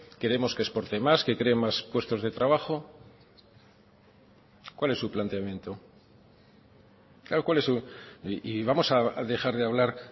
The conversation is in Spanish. queremos que exporte más que cree más puestos de trabajo cuál es su planteamiento y vamos a dejar de hablar